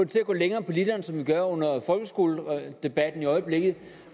til at gå længere på literen som vi har under folkeskoledebatten i øjeblikket